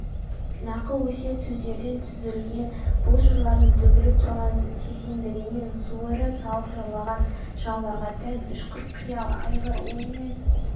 нақыл-өсиет сөздерден түзілген бұл жырлардың төгіліп тұрған шешендігінен суырып салып жырлаған жырауларға тән ұшқыр қиял алғыр ой мен